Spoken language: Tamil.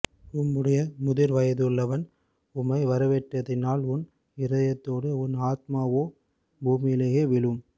உம்முடைய முதிர்வயதுள்ளவன் உம்மை வரவேற்றதினால் உன் இருதயத்தோடும் உன் ஆத்துமாவோ பூமியிலே விழும்